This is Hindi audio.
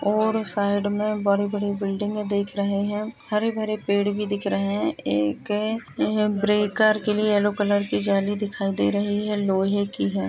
और साइड में बड़ी-बड़ी बिल्डिंगे देख रहे है हरे भरे पेड़ भी दिख रहे है एक ब्रेकर के लिए यलो कलर की जाली दिखाई दे रही है लोहे की है।